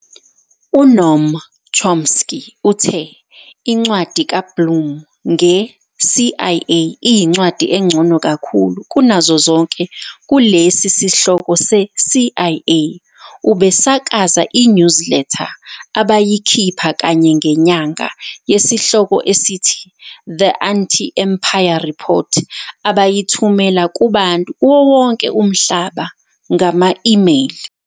UNoam Chomsky uthe incwadi kaBlum nge-CIA, "iyincwadi engcono kakhulu kunazo zonke kulesi sihloko se-CIA." Ubesakaza i-newsletter abayikhipha kanye ngenyanga yesihloko esithi- "The Anti-Empire Report" abayithumela kubantu kuwo wonke umhlaba ngama-email.